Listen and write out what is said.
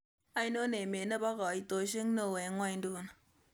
Ainon emet ne po kaitosiek neo eng' ng'wonyduni